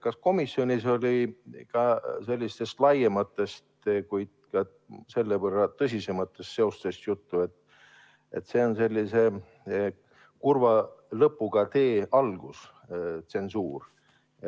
Kas komisjonis oli ka sellistest laiematest, kuid selle võrra tõsisematest seosest juttu, et see on sellise kurva lõpuga tee algus?